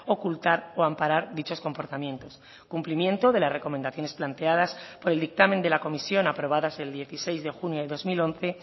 ocultar o amparar dichos comportamientos cumplimiento de las recomendaciones planteadas por el dictamen de la comisión aprobadas el dieciséis de junio de dos mil once